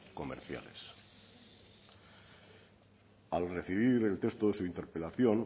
comerciales al recibir el texto de su interpelación